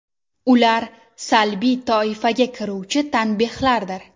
Ular salbiy toifaga kiruvchi tanbehlardir.